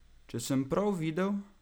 Če sem prav videl?